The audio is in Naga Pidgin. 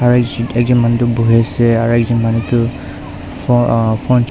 ekjon manu toh buhiase aro ekjon manu toh phone ahh ch--